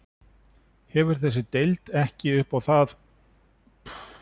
Hvað hefur þessi deild ekki upp á að bjóða?